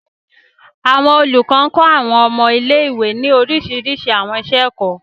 Àwọn olúkọ kọ àwọn ọmọ ilé-ìwe ní orísirísi àwọn iṣẹ-ẹkọ.